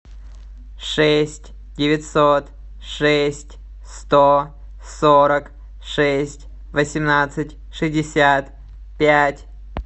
шесть девятьсот шесть сто сорок шесть восемнадцать шестьдесят пять